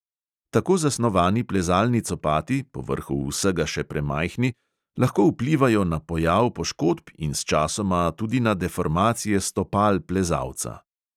Tako zasnovani plezalni copati, povrhu vsega še premajhni, lahko vplivajo na pojav poškodb in sčasoma tudi na deformacije stopal plezalca.